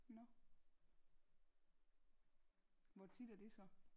Nå hvor tit er det så